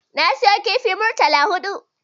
Na siyo kifin murtala huɗu